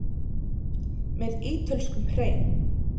Með ítölskum hreim.